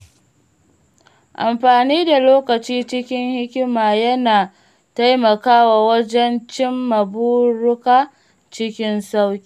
Amfani da lokaci cikin hikima yana taimakawa wajen cimma buruka cikin sauƙi.